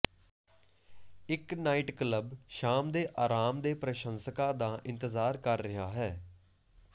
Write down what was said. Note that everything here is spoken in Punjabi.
ਇੱਕ ਨਾਈਟ ਕਲੱਬ ਸ਼ਾਮ ਦੇ ਆਰਾਮ ਦੇ ਪ੍ਰਸ਼ੰਸਕਾਂ ਦਾ ਇੰਤਜ਼ਾਰ ਕਰ ਰਿਹਾ ਹੈ